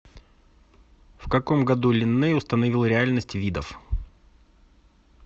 в каком году линней установил реальность видов